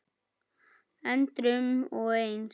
endrum og eins.